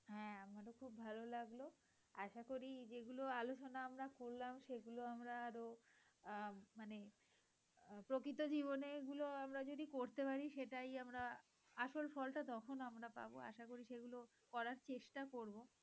আশা করি যেগুলো আলোচনা আমরা করলাম সেগুলো আমরা আরো আহ মানে প্রকৃত জীবনে এগুলো আমরা যদি করতে পারি সেটাই আসল ফলটা তখন আমরা পাব। আশা করি সেগুলো করার চেষ্টা করব।